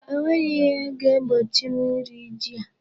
O nweghị ihe ga-egbochi m iri ji a.